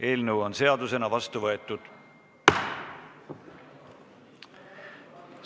Eelnõu on seadusena vastu võetud